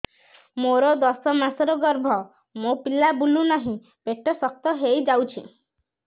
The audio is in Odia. ମୋର ଦଶ ମାସର ଗର୍ଭ ମୋ ପିଲା ବୁଲୁ ନାହିଁ ପେଟ ଶକ୍ତ ହେଇଯାଉଛି